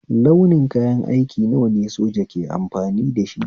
Launi kayan aiki nawa ne soja ke amfani dashi?